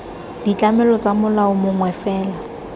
ditlamelo tsa molao mongwe fela